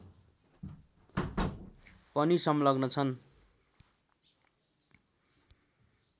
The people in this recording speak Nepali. पनि संलग्न छन्